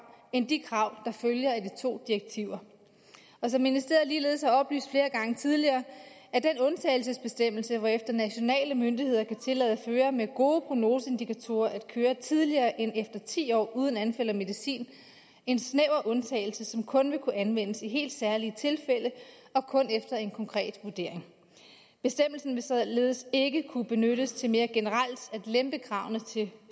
end de krav der følger af de to direktiver og som ministeriet ligeledes har oplyst flere gange tidligere er den undtagelsesbestemmelse hvorefter nationale myndigheder kan tillade førere med gode prognoseindikatorer at køre tidligere end efter ti år uden anfald og medicin en snæver undtagelse som kun vil kunne anvendes i helt særlige tilfælde og kun efter en konkret vurdering bestemmelsen vil således ikke kunne benyttes til mere generelt at lempe kravene til